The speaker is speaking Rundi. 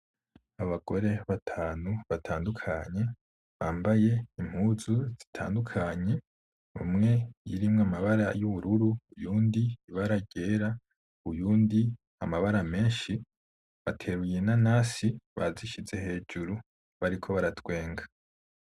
Abagore batanu batandukanye, bambaye impuzu zitandukanye umwe irimwo amabara y’ubururu ; uyundi ibara ryera ; uyundi amabara meshi bateruye inanasi bazishize hejuru bariko baratwenga.